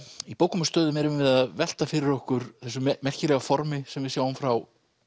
í bókum og stöðum erum við að velta fyrir okkur þessu merkilega formi sem við sjáum frá